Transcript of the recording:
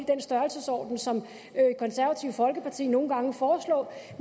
den størrelsesorden som konservative folkeparti nogle gange foreslår